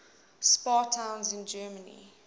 spa towns in germany